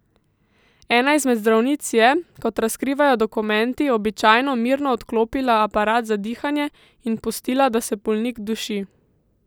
Ena izmed zdravnic je, kot razkrivajo dokumenti, običajno mirno odklopila aparat za dihanje in pustila, da se bolnik duši.